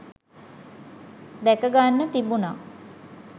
දැක ගන්න තිබුණා